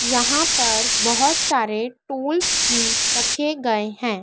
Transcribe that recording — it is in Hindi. यहां पर बोहोत सारे टूल्स भी रखे गए हैं।